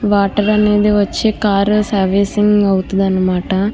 Water అనేది వచ్చే car servicing అవుతుందన్నమాట.